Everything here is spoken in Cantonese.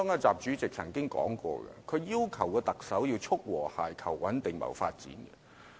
習主席曾經說過，他要求特首要"促和諧、求穩定、謀發展"。